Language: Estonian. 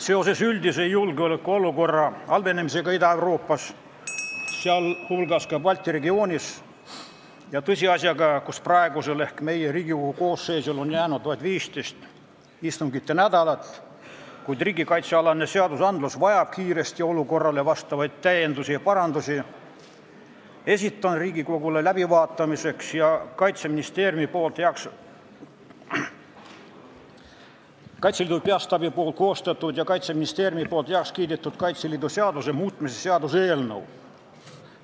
Seoses üldise julgeolekuolukorra halvenemisega Ida-Euroopas, sh Balti regioonis, ja tõsiasjaga, et praegusel Riigikogu koosseisul on jäänud vaid viis istunginädalat, kuid riigikaitsealane seadustik vajab kiiresti olukorrale vastavaid täiendusi ja parandusi, esitan Riigikogule läbivaatamiseks Kaitseliidu Peastaabi koostatud ja Kaitseministeeriumis heaks kiidetud Kaitseliidu seaduse muutmise seaduse eelnõu.